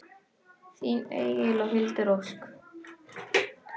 Þín Egill og Hildur Ósk.